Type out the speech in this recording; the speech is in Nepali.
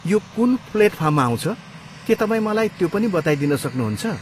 यो कुन प्लेटफार्ममा आउँछ, के तपाईँ मलाई त्यो पनि बताइदिन सक्नुहुन्छ?